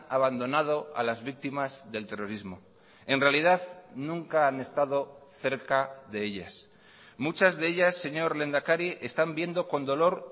abandonado a las víctimas del terrorismo en realidad nunca han estado cerca de ellas muchas de ellas señor lehendakari están viendo con dolor